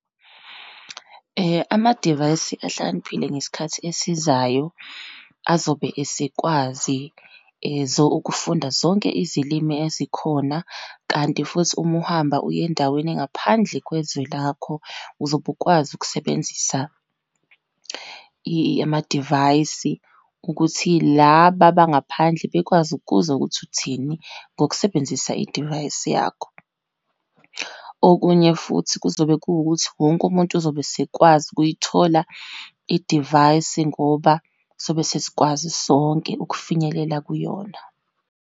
Amadivayisi ahlakaniphile ngesikhathi esizayo azobe esikwazi ukufunda zonke izilimi ezikhona. Kanti futhi, uma uhamba uye endaweni engaphandle kwezwe lakho, uzobe ukwazi ukusebenzisa amadivayisi ukuthi laba abangaphandle bekwazi ukuzwa ukuthi uthini, ngokusebenzisa idivayisi yakho. Okunye futhi kuzobe kuwukuthi, wonke umuntu uzobe esikwazi ukuyithola idivayisi ngoba sobe sesikwazi sonke ukufinyelela kuyona.